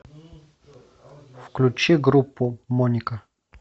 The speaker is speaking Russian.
включи группу моника